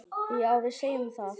Já, við segjum það.